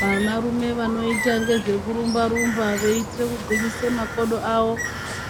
Vanarume vanoyita ngezvekurumba rumba, veyitire kugwinyise makodo awo,